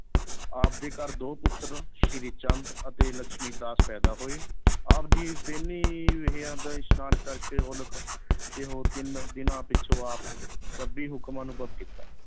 ਆਪ ਦੇ ਘਰ ਦੋ ਪੁੱਤਰ ਸ੍ਰੀ ਚੰਦ ਅਤੇ ਲੱਖਮੀ ਦਾਸ ਪੈਦਾ ਹੋਏ ਆਪ ਜੀ ਇਸ਼ਨਾਨ ਕਰਕੇ ਤਿੰਨ ਦਿਨਾਂ ਪਿਛੋਂ ਆਪ ਰੱਬੀ ਹੁਕਮ ਅਨੁਭਵ ਕੀਤਾ।